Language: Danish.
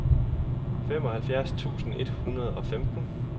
femoghalvfjerds tusind et hundrede og femten